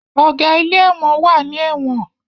Ọ̀gá ilé ẹ̀wọ̀n wà ní ẹ̀wọ̀n